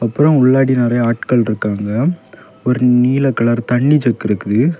அப்புறம் உள்ளாடி நறைய ஆட்கள் இருக்காங்க ஒரு நீல கலர் தண்ணி ஜக் இருக்குது.